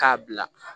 K'a bila